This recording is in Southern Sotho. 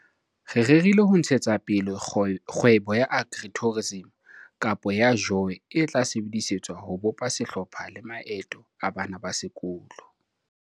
Re rerile ho ntshetsa pele kgwebo ya Agri-tourism, Kampo ya JOY e tla sebedisetswa ho bopa sehlopha le maeto a bana ba sekolo.